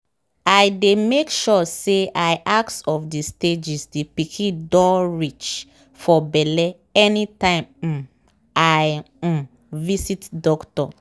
i dey make sure say i ask of the stages the pikin doh reach for belle anytime um i um visit doctor.